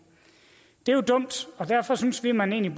det er jo dumt og derfor synes vi at man egentlig